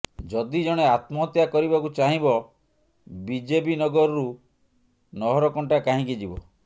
ଯଦି ଜଣେ ଆତ୍ମହତ୍ୟା କରିବାକୁ ଚାହିଁବ ବିଜେବିନଗରରୁ ନହରକଣ୍ଟା କାହିଁକି ଯିବ